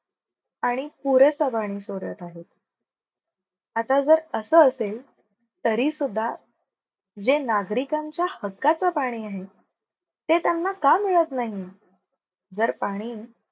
आणि पुरेस पाणी सोडत आहेत आता जर, असं असेल तरी सुद्धा जे नागरिकांच्या हक्कच पाणी आहे. ते त्यांना का मिळत नाही? जर पाणी